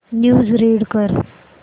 news read कर